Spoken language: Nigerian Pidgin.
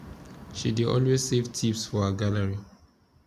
she dey always save tips for her gallery